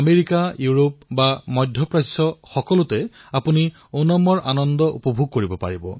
America Europe আদি সকলোতে ওনামৰ আনন্দ পালন কৰা হয়